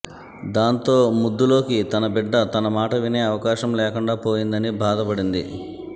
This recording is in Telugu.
దాంతో ముద్దులోకి తన బిడ్డ తన మాట వినే అవకాశం లేకుండా పోయిందని బాధపడింది